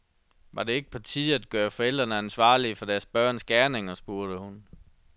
Var det ikke på tide at gøre forældrene ansvarlige for deres børns gerninger, spurgte hun.